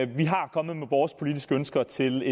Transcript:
vi er kommet med vores politiske ønsker til